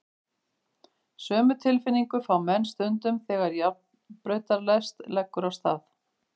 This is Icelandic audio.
Sömu tilfinningu fá menn stundum þegar járnbrautarlest leggur af stað.